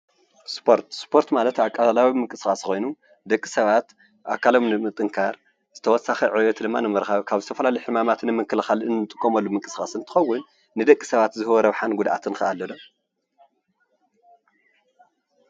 ስፖርት ስፖርት ማለት ኣካላዊ ምቅስቃስ ኮይኑ ደቂ ሰባት ኣካሎም ንምጥንካር ተወሳኪ ዕቤት ንምርካብ ካብ ዝተፈላለዩ ሕማማት ንምክልካል እንጥቀመሉ ምቅስቃስ እንትከውን፣ ንደቂ ሰባት ዝህቦ ረብሓን ጉድኣትን ከ ኣሎዶ?